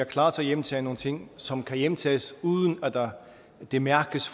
er klar til at hjemtage nogle ting som kan hjemtages uden at det mærkes